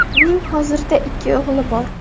Uning hozirda ikki o‘g‘li bor.